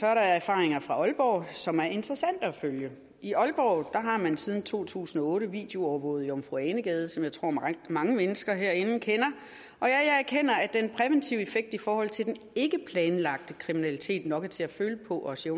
er der erfaringer fra aalborg som er interessante at følge i aalborg har man siden to tusind og otte videoovervåget jomfru ane gade som jeg tror mange mange mennesker herinde kender og jeg erkender at den præventive effekt i forhold til den ikkeplanlagte kriminalitet nok er til at føle på også